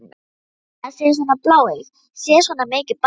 Edda sé svona bláeyg, sé svona mikið barn?